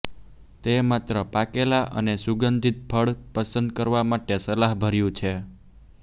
તે માત્ર પાકેલા અને સુગંધિત ફળ પસંદ કરવા માટે સલાહભર્યું છે